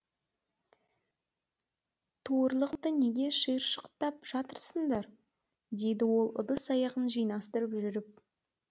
туырлықты неге шиыршықтап жатырсыңдар деді ол ыдыс аяғын жинастырып жүріп